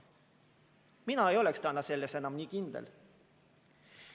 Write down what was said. Mina ei oleks täna enam selles nii kindel.